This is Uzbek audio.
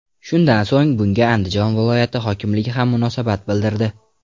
Shundan so‘ng bunga Andijon viloyati hokimligi ham munosabat bildirdi.